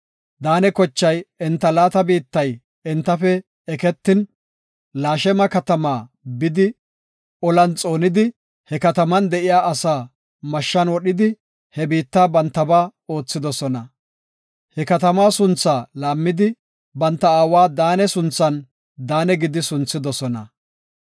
Daane kochay enta laata biittay entafe eketin, Lashema katama bidi, olan xoonidi, he kataman de7iya asaa mashshan wodhidi, he biitta bantaba oothidosona. He katama sunthaa laammidi, banta aawa Daane sunthan Daane gidi sunthidosona.